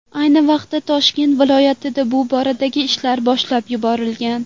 Ayni vaqtda Toshkent viloyatida bu boradagi ishlar boshlab yuborilgan.